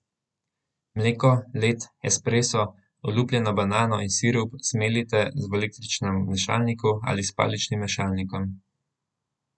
Mleko, led, ekspreso, olupljeno banano in sirup zmeljite v električnem mešalniku ali s paličnim mešalnikom.